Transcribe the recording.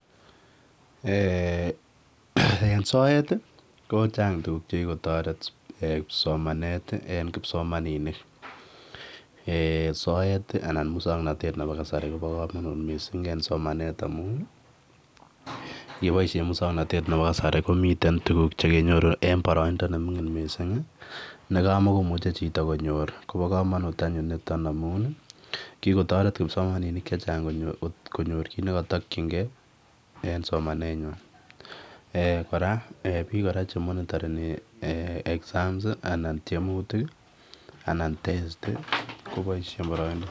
En soet kochang' tuguk chekigotoret somanet eng kipsomaninik, soet anan musang'natet nepo kasari kopa komanut mising' en somanet amun yepoishe musang'natet nepo kasari komiten tuguk chekenyoru eng' boraindo ne mining' mising' nekamikomuche chito konyor kopa komanut anyun nitok amun kigotoret kipsomaninik chechang' konyor kiy nekatakchingei eng somanet nyin, piik koraa che monitani exams, anan tiemutik, anan testi kopaishe eng boraindo.